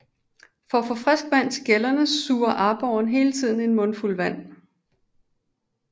For at få frisk vand til gællerne sluger aborren hele tiden en mundfuld vand